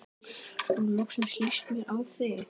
Nú loksins líst mér á þig.